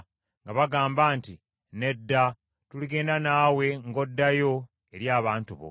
nga bagamba nti, “Nedda, tuligenda naawe ng’oddayo eri abantu bo.”